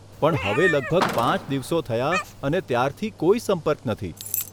પણ હવે લગભગ પાંચ દિવસો થયા અને ત્યારથી કોઈ સંપર્ક નથી.